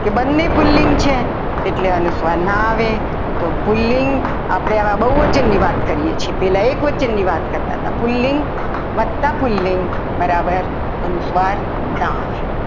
કે બંને પુલ્લિંગ છે એટલે અનુસ્વાર ના આવે પુલ્લિંગ આપણે આમાં બહુવચન ની વાત કરીએ છીએ પહેલા એક વચનની વાત કરતા હતા પુલ્લિંગ વધતા પુલ્લિંગ બરાબર અનુસ્વાર ના આવે.